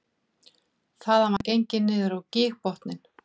Þaðan var gengið niður á gígbotninn